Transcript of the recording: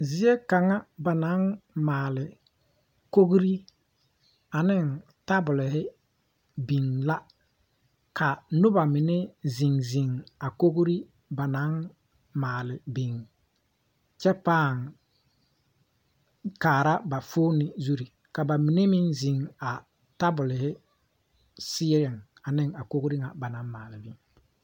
Zie kaŋa banaŋ maala kogro ane teebulo biŋ la ka noba mine zeŋzeŋ a kogro ba naŋ maali biŋ kyɛ paa kaara ba foomo zu ka ba mine zeŋ a teebulɔ ziena ane a kogro na ba naŋ maali